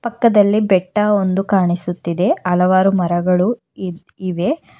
ಪಕ್ಕದಲ್ಲಿ ಬೆಟ್ಟ ಒಂದು ಕಾಣಿಸುತ್ತಿದೆ ಹಲವಾರು ಮರಗಳು ಇದ್ ಇವೆ.